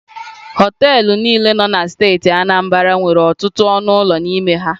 Họọtelụ niile nọ na steeti Anambra nwere ọtụtụ ọnụ ụlọ n'ime ha.